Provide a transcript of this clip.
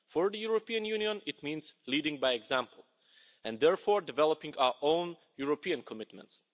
For the European Union, it means leading by example and therefore developing our own European commitments.